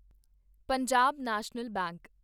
Punjab National bank